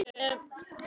Gleymdi Júlíu.